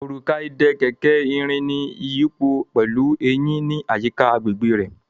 Òrùka ìdè kẹ̀kẹ́ ní ìrìn iyipo pẹlú Eyin ní àyíká agbègbè rẹ.